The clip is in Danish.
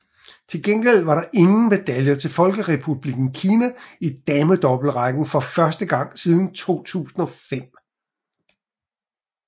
Til gengæld var der ingen medaljer til Folkerepublikken Kina i damedoublerækken for første gang siden 2005